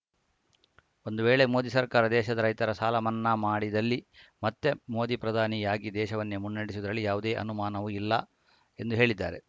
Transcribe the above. ಒಂದು ವೇಳೆ ಮೋದಿ ಸರ್ಕಾರ ದೇಶದ ರೈತರ ಸಾಲ ಮನ್ನಾ ಮಾಡಿದಲ್ಲಿ ಮತ್ತೆ ಮೋದಿ ಪ್ರಧಾನಿಯಾಗಿ ದೇಶವನ್ನೇ ಮುನ್ನಡೆಸುವುದರಲ್ಲಿ ಯಾವುದೇ ಅನುಮಾನವೂ ಇಲ್ಲ ಎಂದು ಹೇಳಿದ್ದಾರೆ